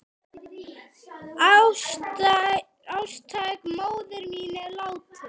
Ástkær móðir mín er látin.